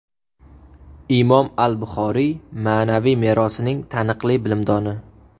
Imom al-Buxoriy ma’naviy merosining taniqli bilimdoni.